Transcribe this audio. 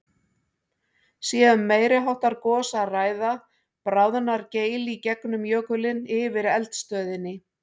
Sé um meiri háttar gos að ræða, bráðnar geil í gegnum jökulinn yfir eldstöðinni.